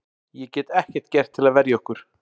Ég get ekkert gert til að verja okkur.